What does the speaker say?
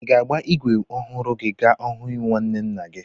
Ị ga-agba ígwè ọhụrụ gị ka ọ hụ nwanne nna gị?